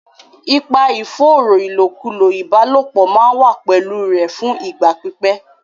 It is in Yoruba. Ipa ìfòòró ìlòkulò ìbálòpọ̀ máa wà pẹ̀lú rẹ̀ fún ìgbà pípẹ́.